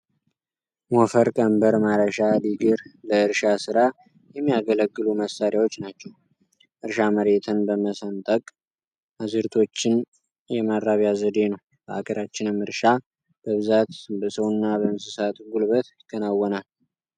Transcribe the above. ሞፈር ፣ቀንበር፣ ማረሻ፣ ድግር ለእርሻ ስራ የሚያገለግሉ መሳሪያዎች ናቸው። እርሻ መሬትን በመሰንጠቅ አዝርዕቶችን የማራቢያ ዘዴ ነው። በሀገራችንም እርሻ በብዛት በሰውና በእንስሳት ጉልበት ይከወናል።